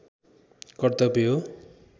कर्तव्य हो